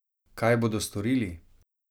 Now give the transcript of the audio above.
Kaj bodo storili?